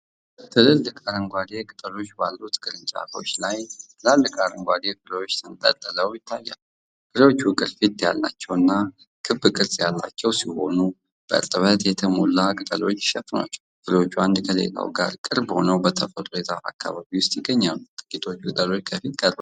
ትልልቅ አረንጓዴ ቅጠሎች ባሉት ቅርንጫፎች ላይ ትላልቅ አረንጓዴ ፍሬዎች ተንጠልጥለው ይታያሉ። ፍሬዎቹ ቅርፊት ያላቸው እና ክብ ቅርጽ ያላቸው ሲሆኑ፤ በእርጥበት የተሞሉ ቅጠሎች ይሸፍኗቸዋል። ፍሬዎቹ አንዱ ከሌላው ጋር ቅርብ ሆነው በተፈጥሯዊ የዛፍ አካባቢ ውስጥ ይገኛሉ፤ ጥቂቶቹ ቅጠሎች ከፊት ቀርበው ይታያሉ።